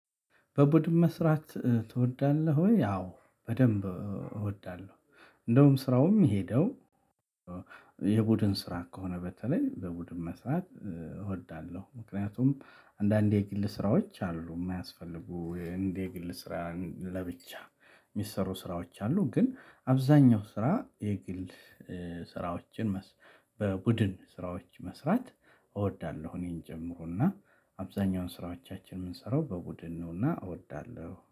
በቡድን መስራት ትወዳለህ? ወይ አዎ በደንብ እወዳለሁ እንደውም ስራውም የሄደው የቡድን ስራ ከሆነ በተለይ በቡድን መስራት እወዳለሁ። ምክንያቱም አንዳንድ የግል ስራዎች አሉ የማያስፈልጉ እንደ የግል ስራ ለብቻ የሚሰሩ ስራዎች አሉ። ግን አብዛኛው ስራ የግል ስራዎችን በቡድን ስራዎች መስራት እወዳለሁ። እኔን ጀምሮና አብዛኛውን ስራዎቻችንን የምንሰራው በቡድን ነውና እወዳለሁ